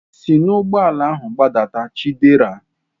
Si n'ụgbọala ahu gbadata Chidera!